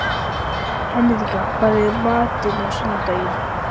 Ekki geta þeir að því gert þótt þeir hafi fæðst.